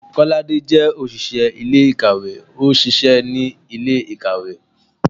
kolade jẹ oṣiṣẹ ilé-ikáwe, o ṣiṣẹ ni ile-ikáwe.